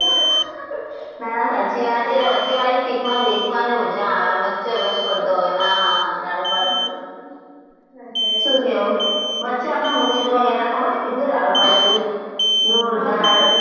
આના સાચી વાત વચ્ચે વાળી sit માં જ મજા આવે આમ વચ્ચે વચ પડદો હોય અને આ હા હા હા રાડો પાડવાની શું કહેવું વચ્ચે આપણે movie જોવા ગયા હતા ખબર હૈ કેટલી રાડો પાડી હતી? જોરદાર